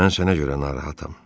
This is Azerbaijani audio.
Mən sənə görə narahatam.